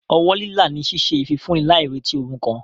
Ọwọ́ lílà ni ṣíṣe ìfifúnni láì retí ohun kan.